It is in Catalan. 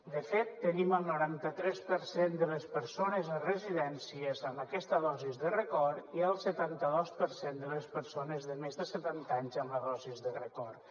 de fet tenim el noranta tres per cent de les persones a residències amb aquesta dosi de record i el setanta dos per cent de les persones de més de setanta anys amb la dosi de record